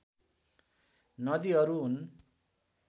नदीहरू हुन्